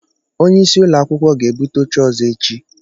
Onyeisi ụlọakwụkwọ ga-ebute óché ọzọ echi